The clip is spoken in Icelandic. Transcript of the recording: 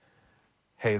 heiður